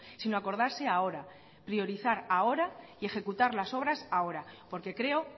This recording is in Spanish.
sino acordarse ahora priorizar ahora y ejecutar las obras ahora porque creo